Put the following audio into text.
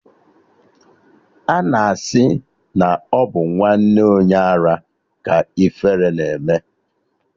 Ana asị na ọ bụ nwanne onye ara ka ifere na-eme